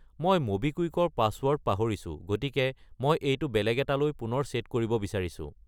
মই ম'বিকুইক ৰ পাছৱৰ্ড পাহৰিছো, গতিকে মই এইটো বেলেগ এটালৈ পুনৰ চে'ট কৰিব বিচাৰিছো।